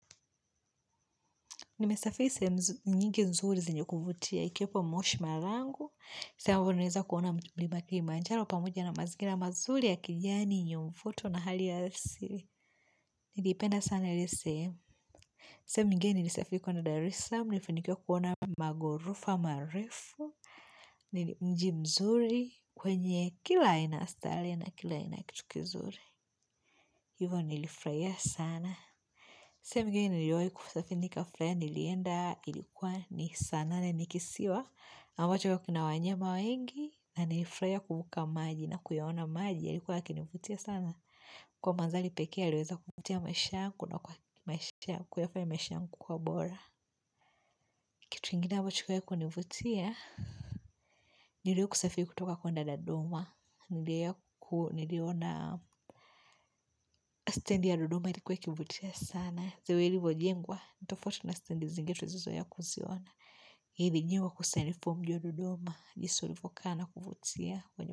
Nimesafiri sehemu nyingi nzuri zenye kuvutia. Ikiwepo moshi marangu. Mlima kilimanjaro pamoja na mazingira mazuri ya kijani yenye mvuto na hali ya asili niliipenda sana ile sehemu. Sehemu nyingine nilisafiri kwenda dar es laam nilifanikiwa kuona maghorofa marefu mji mzuri wenye kila aina ya starehe na kila aina ya kitu kizuri Hivyo nilifurahia sana. Sehemu nyingine niliwa kusafiri nikafurahia nilienda ilikuwa ni saa nane ni kisiwa. Ambacho kina wanyama wengi na nilifurahia kuvuka maji na kuyaona maji. Yalikuwa yakinivutia sana. Kwa madhari pekee yaliyoweza kuvutia maisha yangu na kwa maishangu kwa ubora. Kitu kingine ambacho kiliwai kunivutia. Niliwahi kusafiri kutoka kwenda dodoma Niliona standi ya dodoma ilikuwa ikivutia sana. The way ilivyo jengwa tofauti. Na standi zingine tulizozoea kuziona nilijua kusanifu mji wa dodoma jinsi ulivyokaa na kuvutia.